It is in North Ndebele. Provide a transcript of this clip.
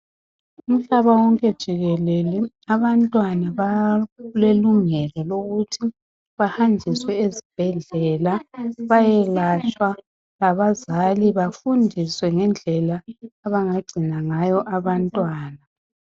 Uhlaba wonke jikelele abantwana balelungelo lokuthi bahanjiswe esibhedlela bayelatshwa, abazali bafundiswe ngendlela yokugcina abantwana.